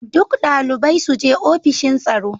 Duk dalibai su je ofishin tsaro.